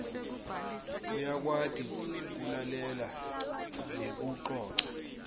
uyakwati kulalela nekucoca